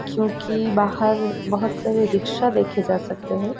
क्योंकि बाहर बहोत सारे रिक्शा देखे जा सकते हैं।